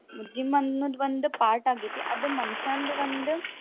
Gym ಅನ್ನೋದ್ ಒಂದ್ part ಆಗೇತಿ. ಅದು ಮನಷ್ಯಾಂದ್ ಒಂದ್.